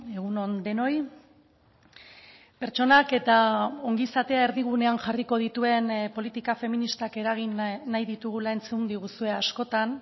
egun on denoi pertsonak eta ongizatea erdigunean jarriko dituen politika feministak eragin nahi ditugula entzun diguzue askotan